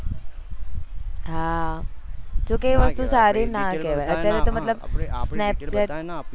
હા જો કે એ વસ્તુ સારી ના કેવાય અત્યારે તો મતલબ snapchat